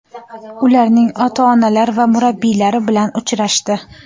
ularning ota-onalari va murabbiylari bilan uchrashdi.